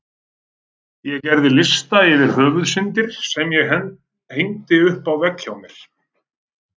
Ég gerði lista yfir Höfuðsyndir sem ég hengdi upp á vegg hjá mér.